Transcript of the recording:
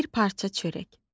Bir parça çörək.